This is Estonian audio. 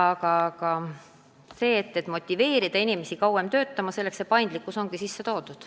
Aga selleks, et motiveerida inimesi kauem töötama, ongi paindlikkus sisse toodud.